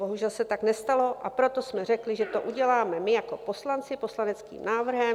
Bohužel se tak nestalo, a proto jsme řekli, že to uděláme my jako poslanci poslaneckým návrhem.